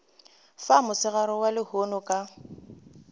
fa mosegareng wa lehono ka